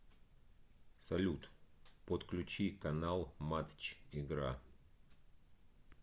салют подключи канал матч игра